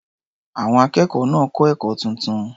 Àwọn akẹ́kọ̀ọ́ náà kọ́ ẹ̀kọ́ tuntun.